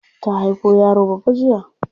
Ta haifo yaro babba jiya.